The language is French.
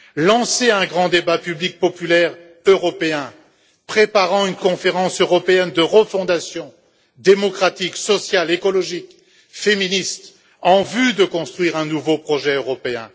Lancez un grand débat public populaire européen préparant une conférence européenne de refondation démocratique, sociale, écologique, féministe, en vue de construire un nouveau projet européen.